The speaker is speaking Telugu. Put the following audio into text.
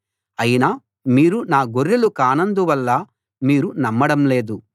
అయినా మీరు నా గొర్రెలు కానందువల్ల మీరు నమ్మడం లేదు